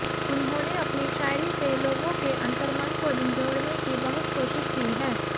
उन्होंने अपनी शायरी से लोगों के अंतर्मन को झिंझोड़ने की बहुत कोशिश की है